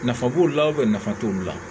Nafa b'o la nafa t'olu la